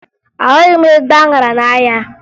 Ahụghị m ezigbo aṅara n'ahịa